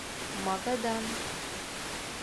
магадан